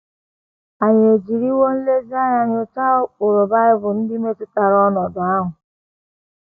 Ànyị ejiriwo nlezianya nyochaa ụkpụrụ Bible ndị metụtara ọnọdụ ahụ?